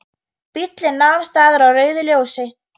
Bíllinn nam staðar á rauðu ljósi.